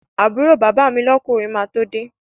Àbúrò bàbá mi lọ́kùnrin máa tó de